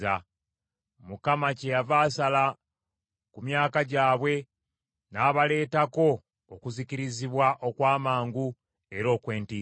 Mukama kyeyava asala ku myaka gyabwe, n’abaleetako okuzikirizibwa okw’amangu era okw’entiisa.